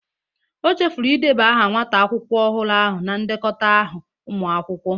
O chefuru ideba aha nwata akwụkwọ ọhụrụ ahụ na ndekọta ahụ ụmụ akwụkwọ